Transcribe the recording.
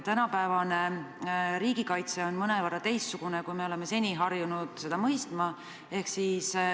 Tänapäevane riigikaitse on mõnevõrra teistsugune, kui me oleme harjunud seda mõistma.